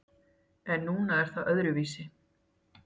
En núna er það öðruvísi.